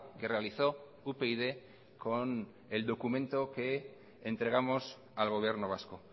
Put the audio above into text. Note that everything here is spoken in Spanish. que realizó upyd con el documento que entregamos al gobierno vasco